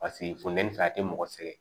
Paseke funtɛni fɛ a tɛ mɔgɔ sɛgɛn